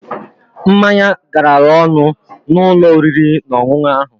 Mmanya garara ọnụ n'ụlọ oriri na onwunwu ahụ